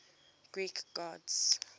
greek gods